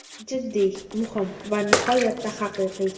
Jiddiy, muhim va nihoyatda haqiqiy.